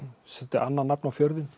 annað nafn á fjörðinn